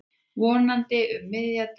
Vonandi um miðja deild.